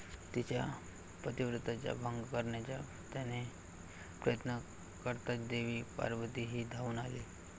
तिच्या पतीव्रत्याचा भंग करण्याचा त्याने प्रयत्न कर्ताच देवी पार्वती ही धावून आली.